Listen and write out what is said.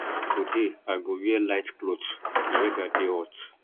today i go wear light cloth di weda dey hot